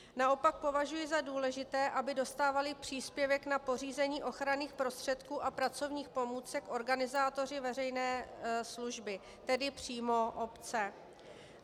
Naopak považuji za důležité, aby dostávali příspěvek na pořízení ochranných prostředků a pracovních pomůcek organizátoři veřejné služby, tedy přímo obce.